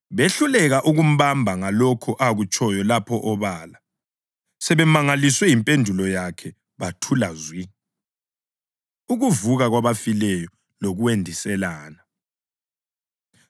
Behluleka ukumbamba ngalokho akutshoyo lapho obala. Sebemangaliswe yimpendulo yakhe bathula zwi. Ukuvuka Kwabafileyo Lokwendiselana